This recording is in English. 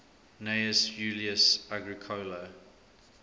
gnaeus julius agricola